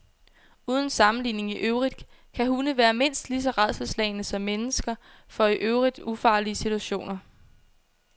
Uden sammenligning i øvrigt kan hunde være mindst lige så rædselsslagne som mennesker for i øvrigt ufarlige situationer.